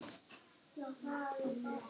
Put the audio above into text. Alltaf takk.